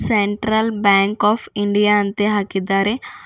Central Bank of India ಅಂತೇ ಹಾಕಿದ್ದಾರೆ.